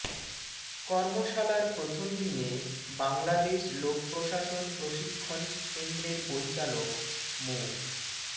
কর্মশালার প্রথম দিনে বাংলাদেশ লোকপ্রশাসন প্রশিক্ষণ কেন্দ্রের পরিচালক মো